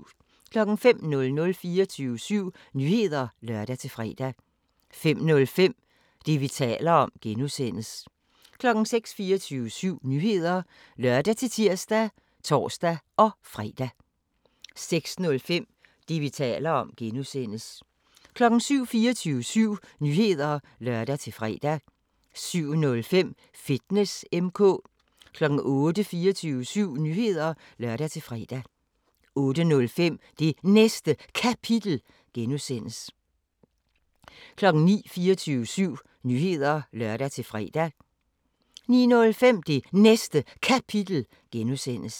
05:00: 24syv Nyheder (lør-fre) 05:05: Det, vi taler om (G) 06:00: 24syv Nyheder (lør-tir og tor-fre) 06:05: Det, vi taler om (G) 07:00: 24syv Nyheder (lør-fre) 07:05: Fitness M/K 08:00: 24syv Nyheder (lør-fre) 08:05: Det Næste Kapitel (G) 09:00: 24syv Nyheder (lør-fre) 09:05: Det Næste Kapitel (G)